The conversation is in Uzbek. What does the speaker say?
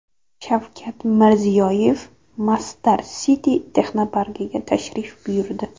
Shavkat Mirziyoyev Masdar City texnoparkiga tashrif buyurdi.